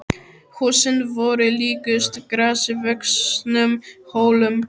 Húsin voru líkust grasi vöxnum hólum.